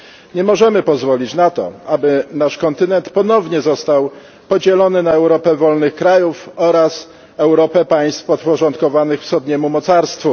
Nie możemy pozwolić na to, aby nasz kontynent ponownie został podzielony na Europę wolnych krajów oraz Europę państw podporządkowanych wschodniemu mocarstwu.